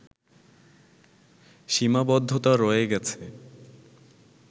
সীমাবদ্ধতা রয়ে গেছে